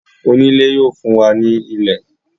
oniilẹ̀ yíò fún wá ní ilẹ̀.